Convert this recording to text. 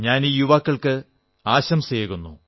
ഞാൻ ഈ യുവാക്കൾക്ക് ആശംസയേകുന്നു